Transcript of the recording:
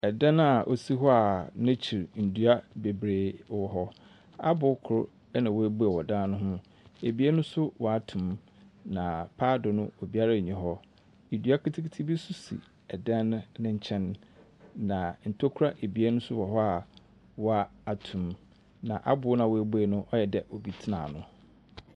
Ɛdan a osi hɔ a n'ekyir ndua bebree wɔ hɔ. Abow kor ena webue wɔ ɛdan no ho. Abien nso wato mu. Na paado no obiara nyi hɔ. Edua ketseketse bi so si ɛdan n'enkyɛn, na ntokura ebien nso wɔ hɔ a wato mu. Na abow na wabue no ayɛ dɛ obi tsena ano.